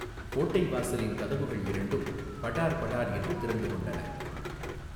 கோட்டை வாசலின் கதவுகள் இரண்டும் படார் படார் என்று திறந்துகொண்டன.